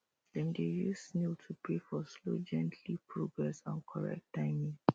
dem dey use snail to pray for slow gently progrss and correct timing